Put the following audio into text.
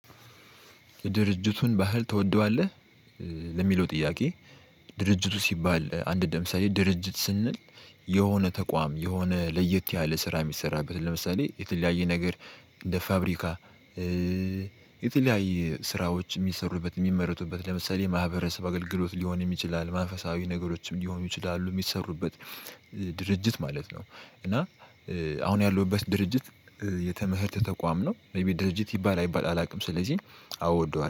የድርጅቱን ባህል ትወደዋለህ? ለሚለው ጥያቄ ድርጅቱ ሲባል አንድ ለምሳሌ ድርጅት ስንል የሆነ ተቋም የሆነ ለየት ያለ ስራ የሚሰራበት ለምሳሌ የተለያየ ነገር እንደ ፋብሪካ። የተለያየ ስራዎች የሚሰሩበት የሚመረቱበት ለምሳሌ ማህበረሰብ አገልግሎት ሊሆንም ይችላልአል መንፈሳዊ ነገሮችም ሊሆኑ ይችላሉ የሚሰሩበት ድርጅት ማለት ነው። እና አሁን ያለሁበት ድርጅት። የትምህርት ተቋም ነው ድርጅት ይባል አይባል አላውቅም ስለዚህ አወደዋለሁ